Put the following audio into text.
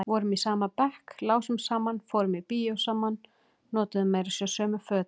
Vorum í sama bekk, lásum saman, fórum í bíó saman, notuðum meira segja sömu fötin.